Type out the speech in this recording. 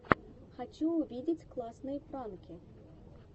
хочу увидеть классные пранки